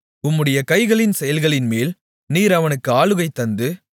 உம்முடைய கைகளின் செயல்களின்மேல் நீர் அவனுக்கு ஆளுகை தந்து